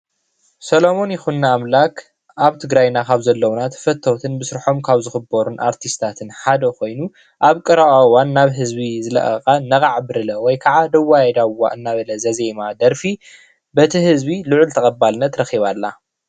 ሰለሙን ይኩኖኣምላክ ኣብ ትግራይና ካብ ዘለውና ተፈተውትን ብስርሖም ካብ ዝኽበሩን ኣርቲስታትን ሓደ ኮይኑ ኣብ ቀረባ ዋን ናብ ህዝቢ ዝለቐቓ ነቓዕ ብሪለ ወይ ካዓ ዳዋየ ዳዋ እናበለ ዘዜማ ደርፊ በቲ ህዝቢ ልዑል ተቐባልነት ረኺባ ኣላ.